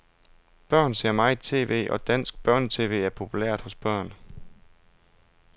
Børn ser meget tv, og dansk børnetv er populært hos børn.